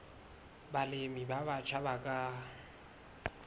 balemi ba batjha ba ka